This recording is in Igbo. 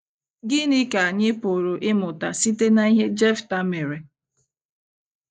Gịnị ka anyị pụrụ ịmụta site n’ihe Jefta mere?